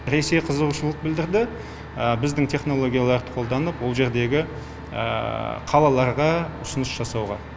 ресей қызығушылық білдірді біздің технологияларды қолданып ол жердегі қалаларға ұсыныс жасауға